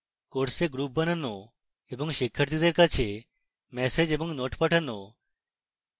courses groups বানানো এবং শিক্ষার্থীদের কাছে ম্যাসেজ এবং notes পাঠানো